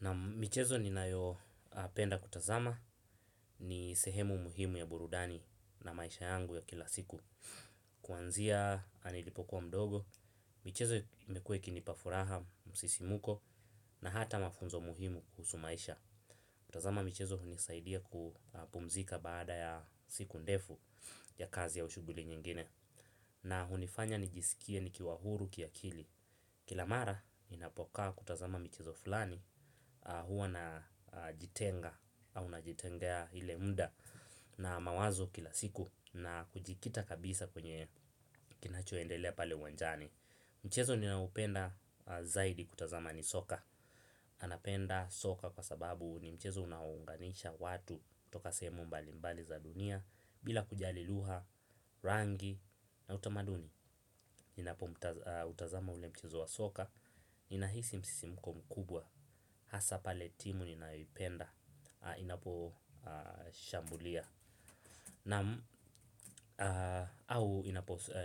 Na michezo ninayopenda kutazama ni sehemu muhimu ya burudani na maisha yangu ya kila siku. Kuanzia nilipokuwa mdogo, michezo imekua ikinipa furaha msisimuko na hata mafunzo muhimu kuhusu maisha. Kutazama michezo hunisaidia kupumzika baada ya siku ndefu ya kazi au shughuli nyingine. Na hunifanya nijisikie nikiwa huru kiakili. Kila mara ninapokaa kutazama michezo fulani huwa najitenga au najitengea ile muda na mawazo kila siku na kujikita kabisa kwenye kinachoendelea pale uwanjani. Mchezo ninaopenda zaidi kutazama ni soka. Anapenda soka kwa sababu ni mchezo unaounganisha watu toka semu mbali mbali za dunia. Bila kujali lugha, rangi na utamaduni. Ninapo utazama ule mchezo wa soka ninahisi msisimko mkubwa. Hasa pale timu ninayoipenda inapo shambulia au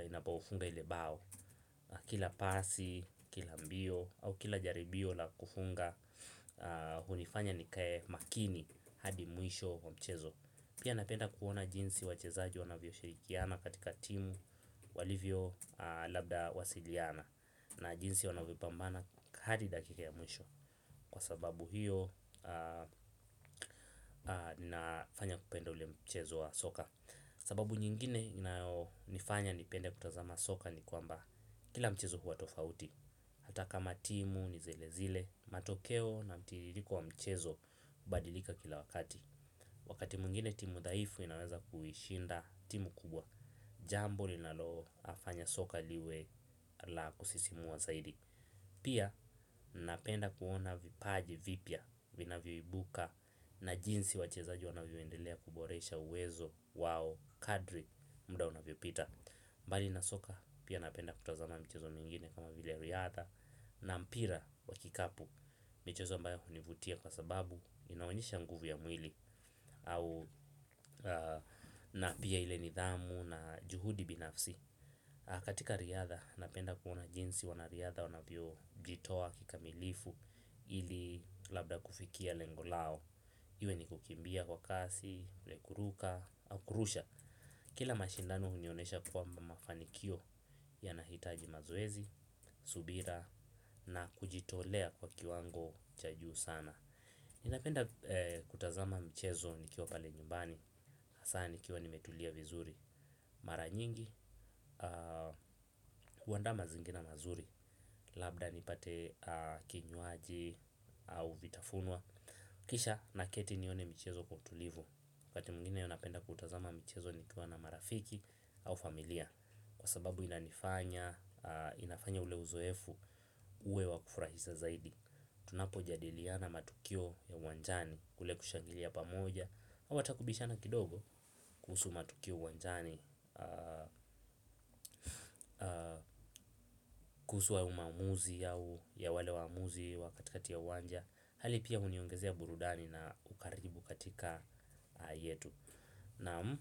inapofunga ile bao. Kila pasi, kila mbio au kila jaribio la kufunga hunifanya nikae makini hadi mwisho wa mchezo. Pia napenda kuona jinsi wachezaji wanavyo shirikiana. Katika timu walivyo labda wasiliana. Na jinsi wanavyo pambana hadi dakika ya mwisho. Kwa sababu hiyo ninafanya kupenda ule mchezo wa soka. Sababu nyingine inayonifanya nipende kutazama soka ni kwamba kila mchezo huwa tofauti hata kama timu nizilezile, matokeo na mtiririko wa mchezo hubadilika kila wakati. Wakati mwingine timu dhaifu inaweza kuishinda timu kubwa. Jambo linalofanya soka liwe la kusisimua zaidi. Pia napenda kuona vipaji vipya vinavyo ibuka na jinsi wachezaji wanavyoendelea kuboresha uwezo wao kadri muda unavyopita. Mbali nasoka pia napenda kutazama michezo mingine kama vile riadha na mpira wa kikapu. Michezo ambayo hunivutia kwa sababu inaonyesha nguvu ya mwili au na pia ile nidhamu na juhudi binafsi. Katika riadha, napenda kuona jinsi wanariadha wanavyo jitoa kikamilifu ili labda kufikia lengo lao. Iwe ni kukimbia kwa kasi, kuruka au kurusha. Kila mashindano hunionesha kwamba mafanikio yanahitaji mazoezi, subira na kujitolea kwa kiwango cha juu sana. Ninapenda kutazama mchezo nikiwa pale nyumbani, hasa nikiwa nimetulia vizuri. Mara nyingi, huandaa mazingira mazuri. Labda nipate kinywaji au vitafunwa. Kisha na keti nione michezo kwa utulivu wakati mwingine napenda kutazama mchezo nikiwa na marafiki au familia. Kwa sababu inanifanya, inafanya ule uzoefu uwe wa kufurahisa zaidi. Tunapojadiliana matukio ya uwanjani kule kushangilia pamoja au hata kubishana kidogo kuhusu matukio uwanjani, kuhusu wa umaamuzi ya wale waamuzi wakatikati ya uwanja. Hali pia uniongezea burudani na ukaribu katika yetu. Naam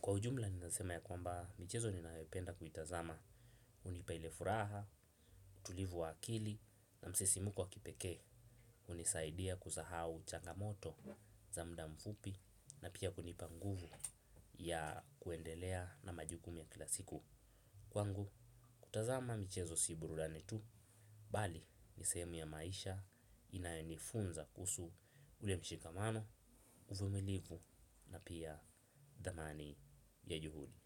kwa ujumla ninasema ya kwamba michezo ninayopenda kuitazama. Unipa ile furaha, utulivu wa akili na msisimuko wa kipeke. Unisaidia kusahau changamoto za mudamfupi. Na pia kunipa nguvu ya kuendelea na majukumu ya kila siku. Kwangu, kutazama michezo si burudani tu. Bali, ni sehemu ya maisha inayonifunza kuhusu ule mshikamano uvumilivu na pia dhamani ya juhudi.